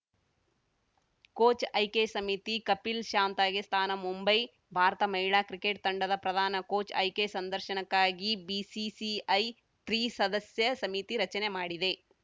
coach ಆಯ್ಕೆ ಸಮಿತಿ ಕಪಿಲ್‌ ಶಾಂತಾಗೆ ಸ್ಥಾನ ಮುಂಬೈ ಭಾರತ ಮಹಿಳಾ ಕ್ರಿಕೆಟ್‌ ತಂಡದ ಪ್ರಧಾನ ಕೋಚ್‌ ಆಯ್ಕೆ ಸಂರ್ದಶನಕ್ಕಾಗಿ ಬಿಸಿಸಿಐ ತ್ರಿಸದಸ್ಯ ಸಮಿತಿ ರಚನೆ ಮಾಡಿದೆ